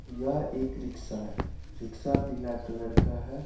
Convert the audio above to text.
यह एक रिक्शा है रिक्शा पीला कलर का है| .